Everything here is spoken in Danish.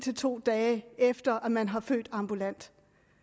to dage efter at man har født ambulant